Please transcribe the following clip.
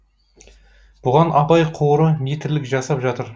бұған абай қоры не тірлік жасап жатыр